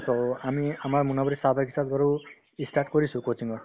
আমি আমাৰ মোনাবাৰী চাহ বাগিছাত বাৰু ই start কৰিছো coaching ৰ